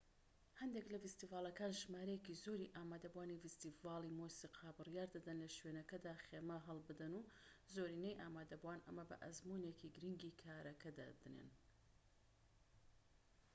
هەندێك لە فیستیڤاڵەکان ژمارەیەکی زۆری ئامادەبوانی فیستیڤاڵی مۆسیقا بڕیار دەدەن لە شوێنەکەدا خێمە هەڵبدەن و زۆرینەی ئامادەبوان ئەمە بە ئەزموونێکی گرنگی کارەکە دادەنێن